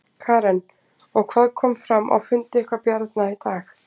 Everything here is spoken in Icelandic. Karen: Og hvað kom fram á fundi ykkar Bjarna í dag?